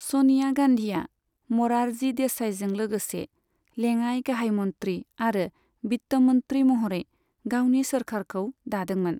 स'निया गान्धीया म'रारजी देसाईजों लोगोसे लेङाइ गाहाय मन्त्री आरो वित्त मन्त्री महरै गावनि सोरखारखौ दादोंमोन।